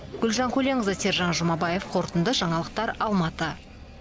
гүлжан көленқызы сержан жумабаев қорытынды жаңалықтар алматы